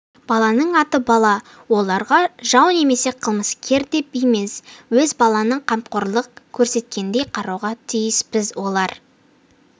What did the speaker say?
баланың аты бала оларға жау немесе қылмыскер деп емес өз балаңа қамқорлық көрсеткендей қарауға тиіспіз олар